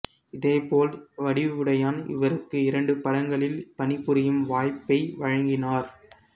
இதேபோல் வடிவுடையான் இவருக்கு இரண்டு படங்களில் பணிபுரியும் வாய்ப்பை வழங்கினார்